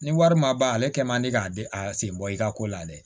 Ni wari ma ban ale kɛ man di k'a di a sen bɔ i ka ko la dɛ